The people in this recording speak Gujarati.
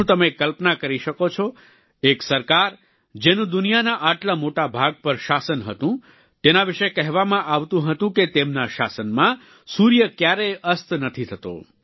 શું તમે કલ્પના કરી શકો છો એક સરકાર જેનું દુનિયાના આટલા મોટા ભાગ પર શાસન હતું તેના વિશે કહેવામાં આવતું હતું કે તેમના શાસનમાં સૂર્ય ક્યારેય અસ્ત નથી થતો